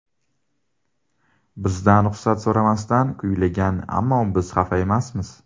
Bizdan ruxsat so‘ramasdan kuylagan, ammo biz xafa emasmiz.